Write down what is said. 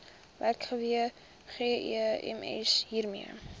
werkgewer gems hiermee